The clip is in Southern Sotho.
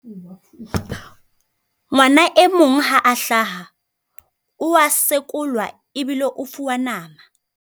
Ngwana e mong ha a hlaha, o a sekolwa ebile o fuwa nama.